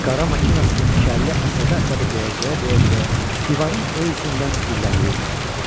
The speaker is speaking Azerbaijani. Qara maşınasını iki əlli əsəbi-əsəbi döyəcləyə-döyəcləyə divarın o üzündən güllələyirdi onu.